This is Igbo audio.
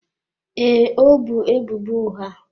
Ee, ọ bu ebubo ụgha.